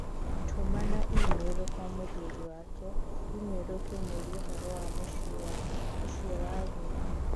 Tũmana i-mīrū kwa mũthuri wake i-mīrū ũkĩmũũria ũhoro wa mũciĩ wa ũciowa agendi.